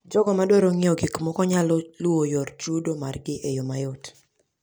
Jogo madwaro ng'iewo gik moko nyalo luwo yor chudo margi e yo mayot.